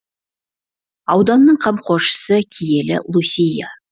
ауданның қамқоршысы киелі лусия